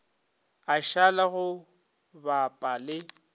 a šala go bapa le